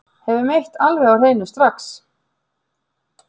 Höfum eitt alveg á hreinu strax